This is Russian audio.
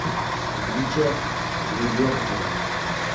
бича гребенкина